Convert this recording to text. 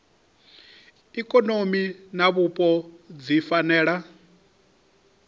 ikonomi na vhupo dzi fanela